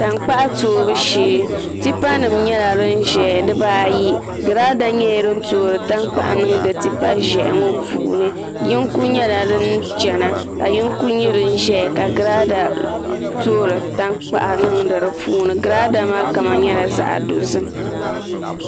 Tankpaɣu toobu shee tipa nim nyɛla din ʒɛya dibaayi girada nyɛla din toori tankpaɣu niŋdi tipa ʒiɛhi ŋo puuni yinga nyɛla din chɛna ka yinga nyɛ din ʒɛya ka girada toori tankpaɣu niŋdi di puuni girada maa kama nyɛla zaɣ dozim